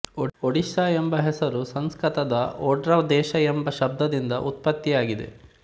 ಒಡಿಶಾ ಎಂಬ ಹಸರು ಸಂಸ್ಕತದ ಒಡ್ರ ದೇಶ ಎಂಬ ಶಬ್ದದಿಂದ ಉತ್ಪತ್ತಿಯಾಗಿದೆ